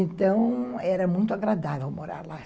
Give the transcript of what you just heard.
Então, era muito agradável morar lá.